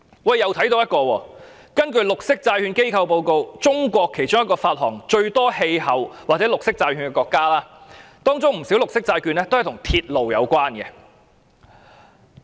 我又看到另一個例子：根據綠色債券機構報告，中國是其中一個發行最多氣候變化或綠色債券的國家，當中不少綠色債券也跟鐵路有關。